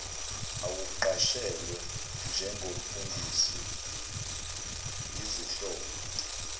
awuqashelwe njengomfundisi izihlobo